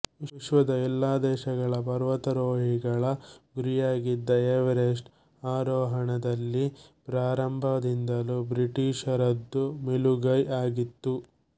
ವಿಶ್ವದ ಎಲ್ಲ ದೇಶಗಳ ಪರ್ವತಾರೋಹಿಗಳ ಗುರಿಯಾಗಿದ್ದ ಎವರೆಸ್ಟ್ ಆರೋಹಣದಲ್ಲಿ ಪ್ರಾರಂಭದಿಂದಲೂ ಬ್ರಿಟಿಷರದು ಮೇಲುಗೈ ಆಗಿತ್ತು